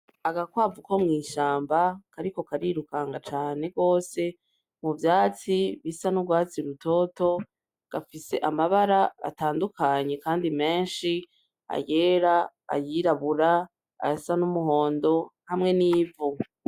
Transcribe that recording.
Agakwavu ko mw'ishamba kariko kariruka cane gose muvyatsi bisa n'urwatsi rutoto, gafise amabara atandukanye kandi menshi, ayera, ayirabura, ayasa n'umuhondo, hamwe n'ivu.